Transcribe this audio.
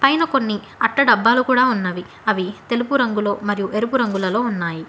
పైన కొన్ని అట్ట డబ్బాలు కూడా ఉన్నావి అవి తెలుగు రంగులలో ఎరుపు రంగులలో ఉన్నాయి.